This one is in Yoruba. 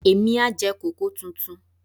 Èmi á jẹ kòkó tuntun.